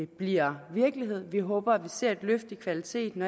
bliver virkelighed vi håber at vi ser et løft i kvaliteten